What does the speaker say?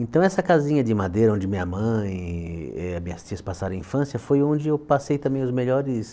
Então, essa casinha de madeira, onde minha mãe e as minhas tias passaram a infância, foi onde eu passei também os melhores